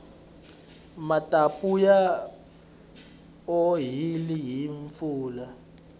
mapatu ya onhile hi mpfula